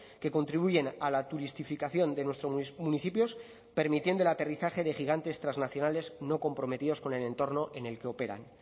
que contribuyen a la turistificación de nuestros municipios permitiendo el aterrizaje de gigantes trasnacionales no comprometidos con el entorno en el que operan